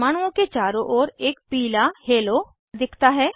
परमाणुओं के चारो ओर एक पीला हेलो दिखता है